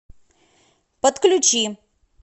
подключи